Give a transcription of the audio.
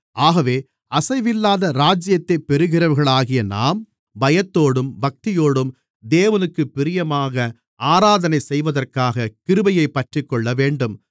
ஆகவே அசைவில்லாத ராஜ்யத்தைப் பெறுகிறவர்களாகிய நாம் பயத்தோடும் பக்தியோடும் தேவனுக்குப் பிரியமாக ஆராதனை செய்வதற்காக கிருபையைப் பற்றிக்கொள்ளவேண்டும்